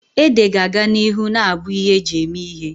Ede ga-aga n'ihu na-abụ ihe eji eme ihe.